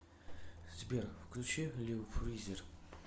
сбер включи лил фризер